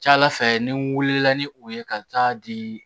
Ca ala fɛ ni wulila ni o ye ka taa di